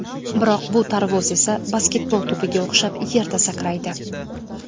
Biroq bu tarvuz esa basketbol to‘piga o‘xshab yerda sakraydi.